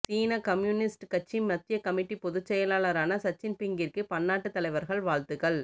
சீனக் communist கட்சி மத்திய கமிட்டிப் பொதுச் செயலாளாரான ஷிச்சின்பிங்கிற்கு பன்னாட்டுத் தலைவர்கள் வாழ்த்துக்கள்